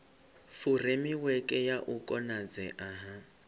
furemiweke ya u konadzea ha